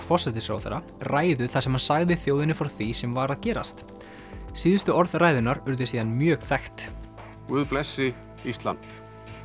forsætisráðherra ræðu þar sem hann sagði þjóðinni frá því sem var að gerast síðustu orð ræðunnar urðu síðan mjög þekkt guð blessi Ísland